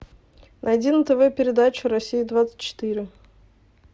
найди на тв передачу россия двадцать четыре